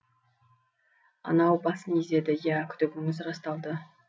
анау басын изеді иә күдігіңіз расталды